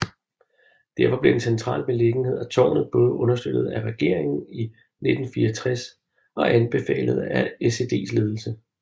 Derfor blev den centrale beliggenhed af tårnet både understøttet af regeringen i 1964 og anbefalet af SEDs ledelse